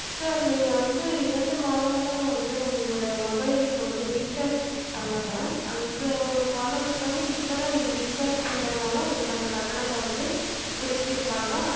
sir நீங்க வந்து இரண்டு மாதங்களா வந்து உங்களுடைய mobile க்கு வந்து recharge பண்ணல அந்த ஒரு காரணத்துக்காக இப்பதா நீங்க recharge பண்றதுனால உங்களுக்கு அந்த கட்டணத்த வந்து புடிச்சிருப்பாங்க